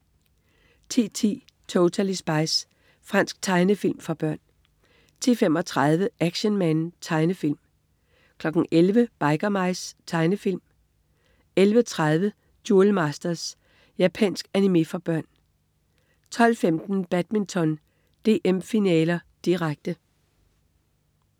10.10 Totally Spies. Fransk tegnefilm for børn 10.35 Action Man. Tegnefilm 11.00 Biker Mice. Tegnefilm 11.30 Duel Masters. Japansk animé for børn 12.15 Badminton: DM, finaler, direkte